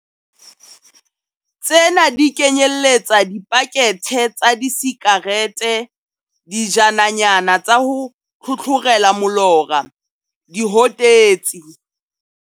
Tsena di kenyeletsa dipakethe tsa disikarete, dijananyana tsa ho tlhotlhorela molora, dihotetsi.